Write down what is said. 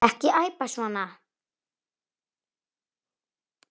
Og ekki æpa svona.